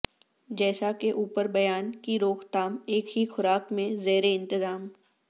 جیسا کہ اوپر بیان کی روک تھام ایک ہی خوراک میں زیر انتظام